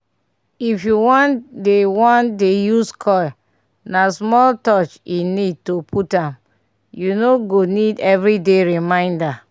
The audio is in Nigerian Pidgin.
if u wan dey wan dey use coil na small touch e need to put am - u no go need everyday reminder. small pause